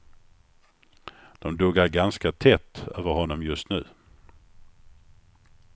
De duggar ganska tätt över honom just nu.